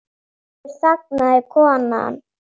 Aftur þagnaði konan.